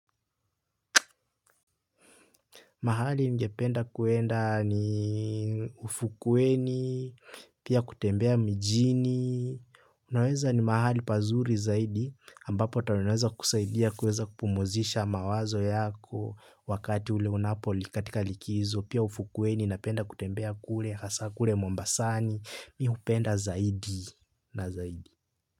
Mahali ningependa kwenda ni ufukuweni, pia kutembea mijini. Unaweza ni mahali pazuri zaidi, ambapo ata unaweza kusaidia kuweza kupumzisha mawazo yako wakati ule unapoli katika likizo, pia ufukuweni, napenda kutembea kule, hasa kule mombasani, mi hupenda zaidi na zaidi.